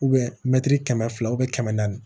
mɛtiri kɛmɛ fila kɛmɛ naani